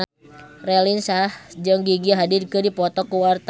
Raline Shah jeung Gigi Hadid keur dipoto ku wartawan